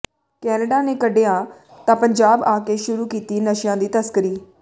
Canada ਨੇ ਕੱਢਿਆ ਤਾਂ ਪੰਜਾਬ ਆ ਕੇ ਸ਼ੁਰੂ ਕੀਤੀ ਨਸ਼ਿਆਂ ਦੀ ਤਸਕਰੀ